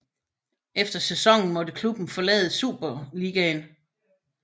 Efter sæsonen måtte klubben forlade Superisligaen